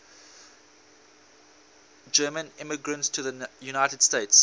german immigrants to the united states